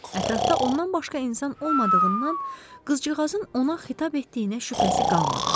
Ətrafda ondan başqa insan olmadığından, qızcığazın ona xitab etdiyinə şübhəsi qalmadı.